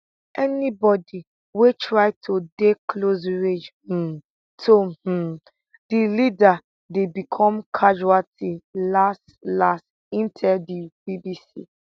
anybodi wey try to dey close range um to um di leader dey become casualty last last im tell di bbc